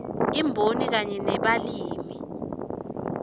imboni kanye nebalimi